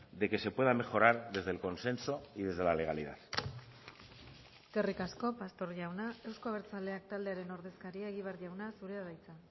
de que se pueda mejorar desde el consenso y desde la legalidad eskerrik asko pastor jauna euzko abertzaleak taldearen ordezkaria egibar jauna zurea da hitza